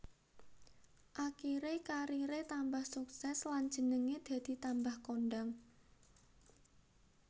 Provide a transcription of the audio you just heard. Akiré kariré tambah sukses lan jenengé dadi tambah kondhang